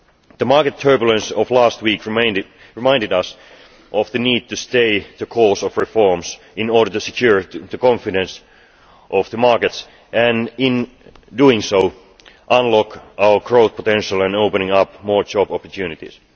The market turbulence of last week reminded us of the need to stay the course with reforms, in order to secure the confidence of the markets and, in doing so, unlock our growth potential and open up more job opportunities.